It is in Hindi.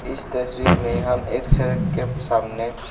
इस तस्वीर में हम एक सड़क के सामने--